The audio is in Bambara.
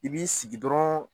I b'i sigi dɔrɔn